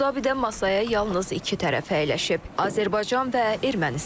Əbu Dabidən masaya yalnız iki tərəf əyləşib: Azərbaycan və Ermənistan.